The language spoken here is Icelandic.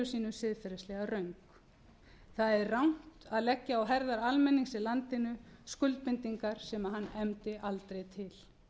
sínu siðferðislega röng það er rangt að leggja á herðar almennings í landinu skuldbindingar sem hann efndi aldrei til